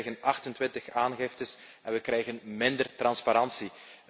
We krijgen 28 aangiftes en we krijgen minder transparantie.